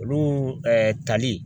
Olu tali